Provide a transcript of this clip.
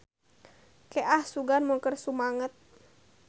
Ke ah sugan mun keur sumanget.